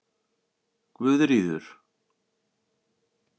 Guðríður